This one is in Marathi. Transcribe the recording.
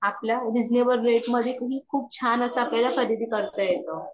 आपल्यारिजनेबल रेट मध्ये आणि खूप छान अस आपल्याला खरीदी करतायेतो